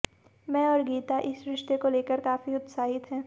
मै और गीता इस रिश्ते को लेकर काफी उत्साहित हैं